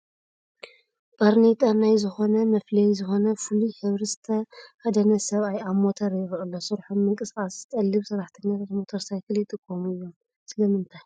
ባርኔጣን ናይ ዝኾነ መፍለዪ ዝኾነ ፍሉይ ሕብሪ ዝተኸደነ ሰብኣይ ኣብ ሞተር ይርአ ኣሎ፡፡ ስርሖም ምንቅስቓስ ዝጠልብ ሰራሕተኛታት ሞተር ሳይክል ይጥቀሙ እዮም፡፡ ስለምንታይ?